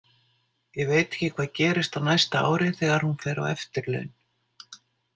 Ég veit ekki hvað gerist á næsta ári þegar hún fer á eftirlaun.